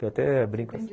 Eu até brinco assim.